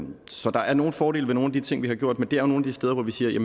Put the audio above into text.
så der er nogle fordele ved nogle af de ting vi har gjort men det er nogle af de steder hvor vi siger